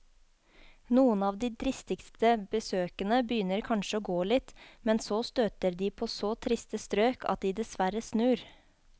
Noen av de dristigste besøkende begynner kanskje å gå litt, men så støter de på så triste strøk at de dessverre snur.